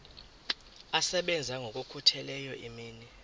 asebenza ngokokhutheleyo imini